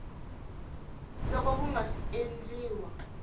loko ku nga si endliwa